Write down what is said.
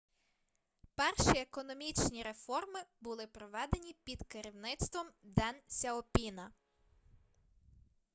перші економічні реформи були проведені під керівництвом ден сяопіна